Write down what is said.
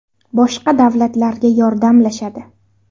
Boshqa davlatlarga yordamlashadi.